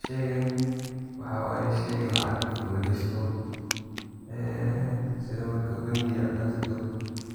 sheygan waxaa waye sheyga lacagta lagashto ee sida marka bengiga ad tagto